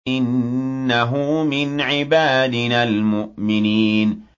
إِنَّهُ مِنْ عِبَادِنَا الْمُؤْمِنِينَ